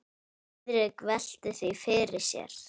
Friðrik velti því fyrir sér.